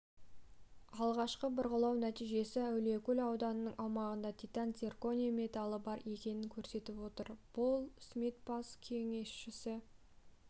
алғашқы бұрғылау нәтижесі әулиекөл ауданының аумағында титан-цирконий металы бар екенін көрсетіп отыр пол смит бас кеңесші